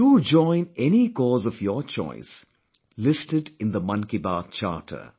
Do join any cause of your choice listed in the Mann Ki Baat Charter